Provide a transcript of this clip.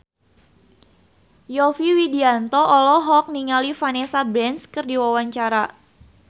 Yovie Widianto olohok ningali Vanessa Branch keur diwawancara